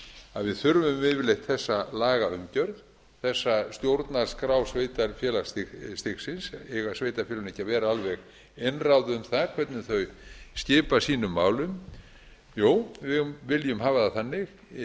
að við þurfum yfirleitt þessa lagaumgjörð þessa stjórnarskrá sveitarfélagsstigsins eiga sveitarfélögin ekki að vera alveg einráð um það hvernig þau skipa sínum málum jú við viljum hafa það þannig